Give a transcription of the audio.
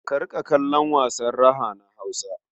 Ka riƙa kallon wasan raha na Hausa.